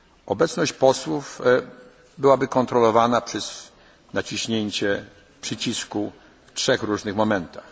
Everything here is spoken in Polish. podczas debaty. Obecność posłów byłaby kontrolowana przez naciśnięcie przycisku w trzech różnych